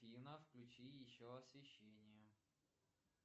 афина включи еще освещение